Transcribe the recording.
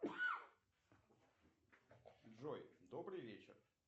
джой добрый вечер